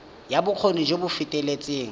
ya bokgoni jo bo feteletseng